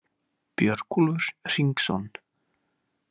Björgúlfur Hringsson,